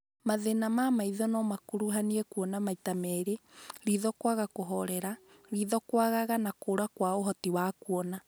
Mathĩna ma maitho no makuruhanie kuona maita merĩ, ritho kwaga kũhorera, ritho kwanganga na kũra kwa ũhoti wa kuona